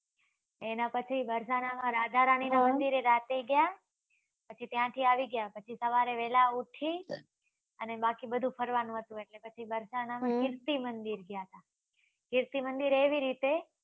એના પછી વરસના માં રાધા રાણીના મંદિર એ રાતે ગયા પછી ત્યાં થી આવી ગયા પછી સવારે વેલા ઉઠી અને બાકી બધું ફરવા નું હતું એટલે પછી વારસાના માં કીર્તિ મંદિર ગયા હતા કીર્તિ મંદિર એવી રીતે